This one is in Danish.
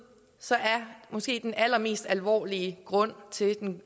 så er måske den allermest alvorlige grund til